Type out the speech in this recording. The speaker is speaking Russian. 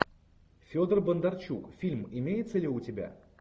федор бондарчук фильм имеется ли у тебя